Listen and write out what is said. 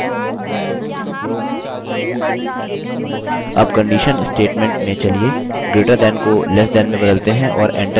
अब conditional statement में चलिए greater than को less than में बदलते हैं और enter की दबाएँ